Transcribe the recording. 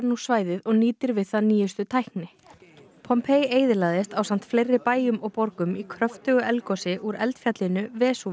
svæðið og nýtir við það nýjustu tækni eyðilagðist ásamt fleiri bæjum og borgum í kröftugu eldgosi úr eldfjallinu